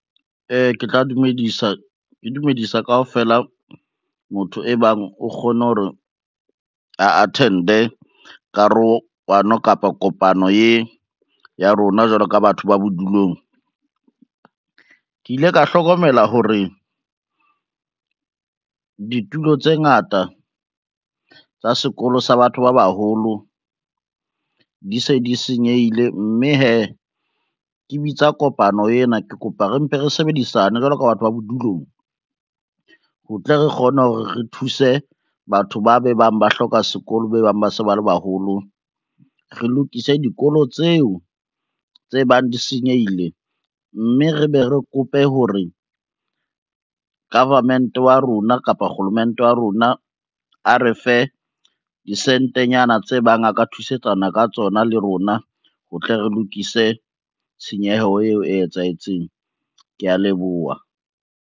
Ke tla dumedisa, ke dumedisa kaofela motho e bang o kgone hore a attend-e karohano kapa kopano e ya rona jwalo ka batho ba bodulong. Ke ile ka hlokomela hore ditulo tse ngata tsa sekolo sa batho ba baholo di se di senyehile, mme hee ke bitsa kopano ena ke kopa re mpe re sebedisane jwalo ka batho ba bodulong, ho tle re kgone hore re thuse batho ba be bang ba hloka sekolo be bang ba se ba le baholo. Re lokise dikolo tseo tse bang di senyehile, mme re be re kope hore government wa rona kapa kgolomente wa rona a re fe disentenyana tse bang a ka thusetsana ka tsona le rona ho tle re lokise tshenyeho eo e etsahetseng, kea leboha.